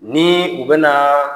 Ni u bɛna